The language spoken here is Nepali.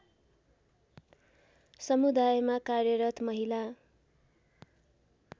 समुदायमा कार्यरत महिला